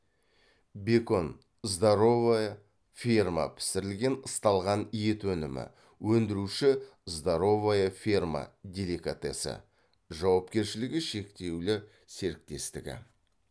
бекон здоровая ферма пісірілген ысталған ет өнімі өндіруші здоровая ферма деликатесы жауапкершілігі шектеулі серіктестігі